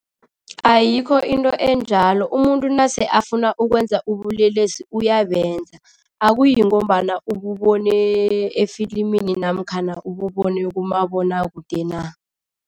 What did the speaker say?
Ayikho into enjalo. Umuntu nase afuna ukwenza ubulelesi uyabenza, akuyi ngombana ububone efilimini namkhana ububone kumabonwakude na.